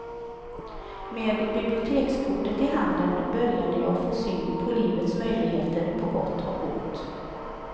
Med bibliotekskortet i handen började jag få syn på livets möjligheter på gott och ont.